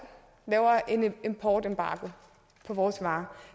laver en importembargo på vores varer og